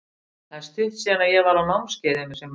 Það er stutt síðan að ég var á námskeiði um þessi mál.